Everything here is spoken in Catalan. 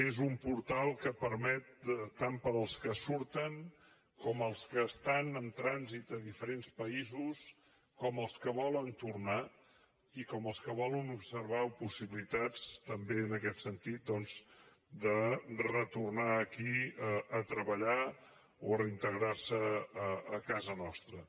és un portal que permet tant per als que surten com als que estan en trànsit a diferents països com als que volen tornar i com als que volen observar possibilitats també en aquest sentit de retornar aquí a treballar o reintegrarse a casa nostra